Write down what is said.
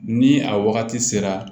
Ni a wagati sera